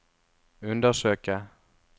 undersøke